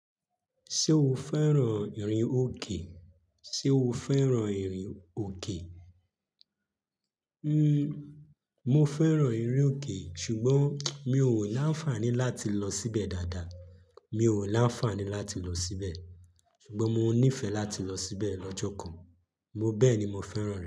Ṣé o fẹ́ràn ìrìn òkè? Ṣé o fẹ́ràn ìrìn òkè? Mo fẹ́ràn ìrìn òkè ṣùgbọ́n mi ò láńfàní láti lọ síbẹ̀ dáadáa. Mi ò láńfàní láti lọ síbẹ̀. Ṣùgbọ́n mo nífẹ̀ẹ́ láti lọ síbẹ̀ lọ́jọ́ kan. Mo bẹ́ẹ̀ni mo fẹ́ràn rẹ.